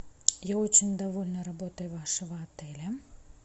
я очень довольна работой вашего отеля